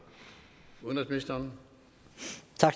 udenrigsministeren